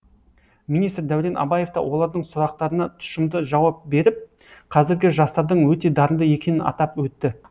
министр дәурен абаев та олардың сұрақтарына тұшымды жауап беріп қазіргі жастардың өте дарынды екенін атап өтті